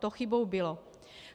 To chybou bylo.